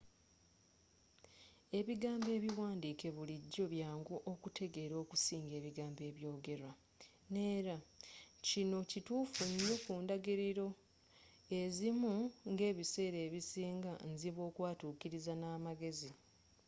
ebigambo ebiwandiike bulijjo byangu okuteegera okusinga ebigambo ebyogerwa. neera.kino kituufu nnyo ku ndagiriro ezimu ngebiseera ebisinga nzibu okwatuukiriza namagezi